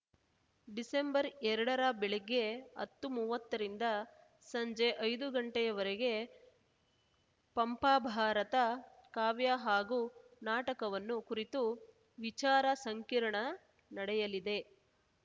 December ಎರಡರ ಬೆಳಿಗ್ಗೆ ಹತ್ತುಮುವತ್ತ ರಿಂದ ಸಂಜೆ ಐದು ಗಂಟೆಯವರೆಗೆ ಪಂಪ ಭಾರತ ಕಾವ್ಯ ಹಾಗೂ ನಾಟಕವನ್ನು ಕುರಿತು ವಿಚಾರ ಸಂಕಿರಣ ನಡೆಯಲಿದೆ